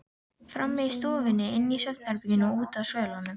Frammi í stofunni, inni í svefnherberginu og úti á svölunum.